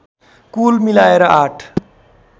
कुल मिलाएर आठ